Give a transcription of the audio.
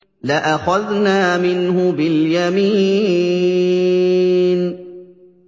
لَأَخَذْنَا مِنْهُ بِالْيَمِينِ